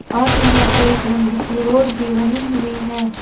और यहां पे एक लंबी सी रोड भी बनी हुई है।